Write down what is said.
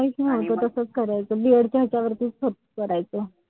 काहीच नव्हतं तसंच करायचो. B. ED च्या ह्याच्यावरतीच करायचो.